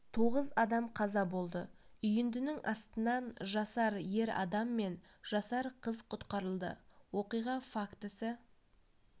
тоғыз адам қаза болды үйіндінің астынан жасар ер адам мен жасар қыз құтқарылды оқиға фактісі